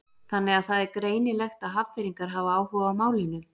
Þannig að það er greinilegt að Hafnfirðingar hafa áhuga á málinu?